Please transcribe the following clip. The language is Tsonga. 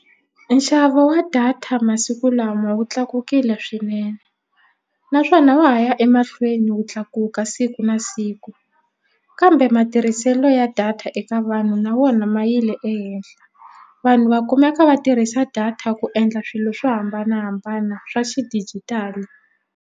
Nxavo wa data masiku lama wu tlakukile swinene naswona wa ha ya emahlweni wu tlakuka siku na siku kambe matirhiselo ya data eka vanhu na wona ma yile ehenhla vanhu va kumeka va tirhisa data ku endla swilo swo hambanahambana swa xidijitali.